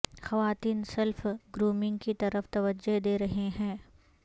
خواتین self grooming کی طرف توجہ دے رہی ہیں